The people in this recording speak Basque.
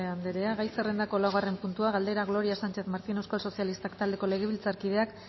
andrea gai zerrendako laugarren puntua galdera gloria sánchez martín euskal sozialistak taldeko legebiltzarkideak